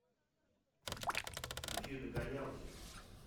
включи догонялки